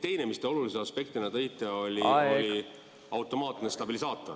Teine, mis te olulise aspektina tõite, oli automaatne stabilisaator.